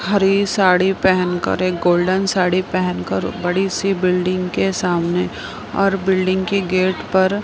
हरी साड़ी पहन कर एक गोल्डन साड़ी पहन कर बड़ी सी बिल्डिंग के सामने और बिल्डिंग के गेट पर--